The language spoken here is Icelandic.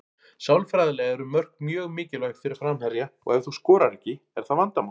Sálfræðilega eru mörk mjög mikilvæg fyrir framherja og ef þú skorar ekki er það vandamál.